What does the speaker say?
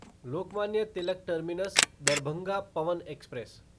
Lokmanya Tilak terminus Darbhanga Pawan express